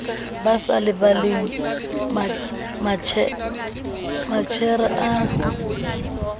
ba sa lebaleng matjhere a